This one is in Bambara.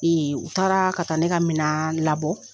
u taaraa ka taa ne ka minaan labɔ